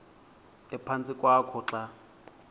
ephantsi kwakho xa